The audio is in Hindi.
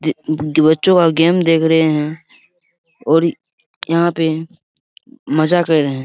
ये बच्चों का गेम देख रहें हैं और यहाँ पे मजा कर रहें हैं।